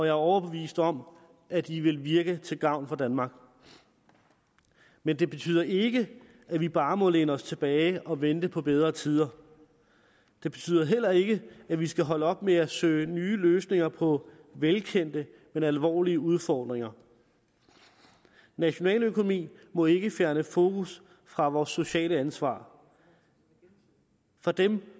er overbevist om at de vil virke til gavn for danmark men det betyder ikke at vi bare må læne os tilbage og vente på bedre tider det betyder heller ikke at vi skal holde op med at søge nye løsninger på velkendte men alvorlige udfordringer nationaløkonomi må ikke fjerne fokus fra vores sociale ansvar for dem